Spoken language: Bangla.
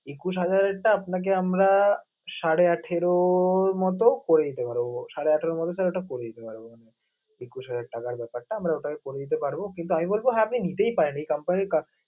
একুশ হাজারেরটা আপনাকে আমরা সাড়ে আঠারোর মত করে দিতে পারবো. সাড়ে আঠারোর মধ্যে sir এটা করে দিতে পারবো আমরা. একুশ হাজার টাকার ব্যাপারটা আমরা ওটা করে দিতে পারবো, কিন্তু আমি বলবো হ্যাঁ আপনি নিজেই পারবেন company এর কাছ